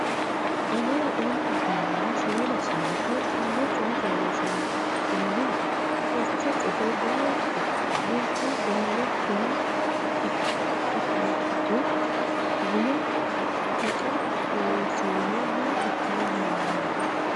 Anera ontu birrinna shoole saante Tenne coy fooliishsho la’ini? Furcho cuffe dayiitto? Dubbu dolama kora ikkituro gumu Taqa Loonseemmo maa ikkara dandaanno?